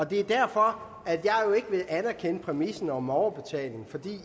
det er derfor at jeg ikke vil anerkende præmissen om en overbetaling